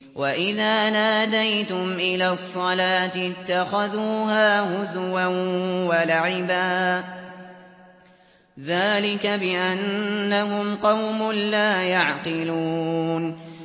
وَإِذَا نَادَيْتُمْ إِلَى الصَّلَاةِ اتَّخَذُوهَا هُزُوًا وَلَعِبًا ۚ ذَٰلِكَ بِأَنَّهُمْ قَوْمٌ لَّا يَعْقِلُونَ